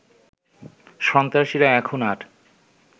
সন্ত্রাসীরা এখন আর